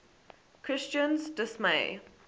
christine s dismay